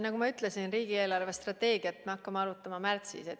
Nagu ma ütlesin, riigi eelarvestrateegiat me hakkame arutama märtsis.